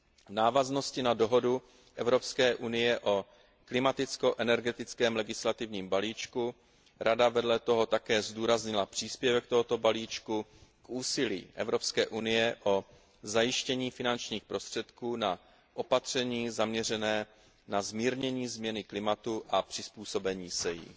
V návaznosti na dohodu EU o klimaticko energetickém legislativním balíčku Rada vedle toho také zdůraznila příspěvek tohoto balíčku k úsilí EU o zajištění finančních prostředků na opatření zaměřená na zmírnění změny klimatu a přizpůsobení se jí.